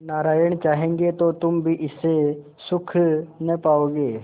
नारायण चाहेंगे तो तुम भी इससे सुख न पाओगे